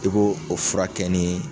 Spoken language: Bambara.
I b'o furakɛ ni